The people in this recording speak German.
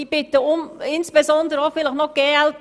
Ich bitte insbesondere die glp-Fraktion, doch mitzuhelfen.